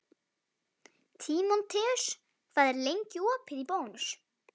Tímoteus, hvað er lengi opið í Bónus?